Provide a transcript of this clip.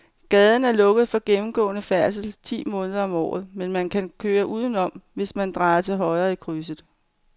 Gaden er lukket for gennemgående færdsel ti måneder om året, men man kan køre udenom, hvis man drejer til højre i krydset.